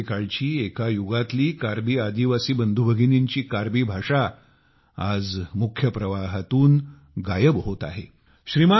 कोणे एके काळची एका युगातली कार्बी आदिवासी बंधूभगिनींची कार्बी भाषा आज मुख्य प्रवाहातून गायब होत आहे